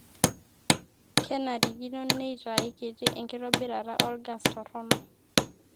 kenarikino neitae kiti enkitobirata olgas torrono